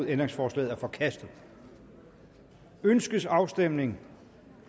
ændringsforslaget er forkastet ønskes afstemning